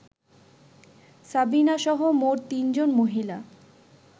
সাবিনাসহ মোট তিনজন মহিলা